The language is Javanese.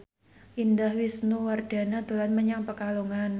Indah Wisnuwardana dolan menyang Pekalongan